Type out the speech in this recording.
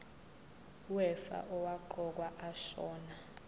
wefa owaqokwa ashona